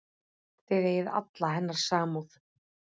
Það eigi alla hennar samúð.